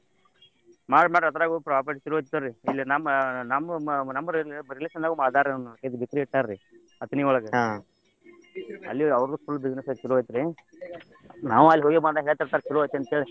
ಮಾಡ್ರಿ ಮಾಡ್ರಿ ಅದ್ರಗೂ profit ಚಲೋ ಐತೆ ತಗೋರಿ ಇಲ್ಲಿ ನಮ್ಮ್ ನಮ್ಮ್ ನಮ್ಮ್ relation ದಾಗು ಮಾಡ್ಯಾರ ಇದ bakery ಇಟ್ಟಾರರಿ. ಅಥಣಿ ಒಳಗ ಅಲ್ಲಿ ಅವರ್ದು full business ಚಲೋ ಐತ್ ರ್ರೀ. ನಾವೂ ಅಲ್ ಹೋಗಿ ಬಂದಾಗೆಲ್ಲ ಹೇಳತಿರ್ತಾರ ಚಲೋ ಐತಿ ಅಂತೇಳಿ.